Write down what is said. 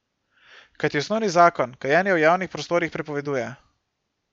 Kajti osnovni zakon kajenje v javnih prostorih prepoveduje.